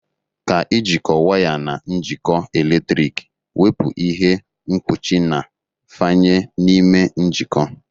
Ka ijikọ waya na njikọ eletriki, wepụ ihe mkpuchi na fanye n'ime njikọ.